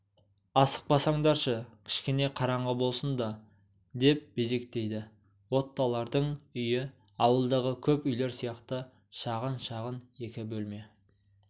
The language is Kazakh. асықпасаңдаршы кішкене қараңғы болсын да деп безектейді оттолардың үйіауылдағы көп үйлер сияқты шағын-шағын екі бөлме